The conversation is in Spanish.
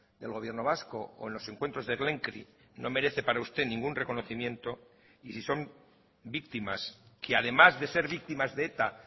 del gobierno vasco o en los encuentros de no merece para usted ningún reconocimiento y si son víctimas que además de ser víctimas de eta